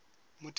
motheo